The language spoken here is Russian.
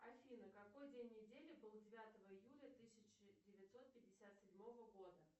афина какой день недели был девятого июля тысяча девятьсот пятьдесят седьмого года